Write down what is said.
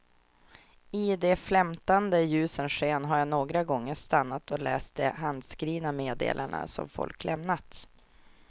I de flämtande ljusens sken har jag några gånger stannat och läst de handskrivna meddelandena som folk lämnat.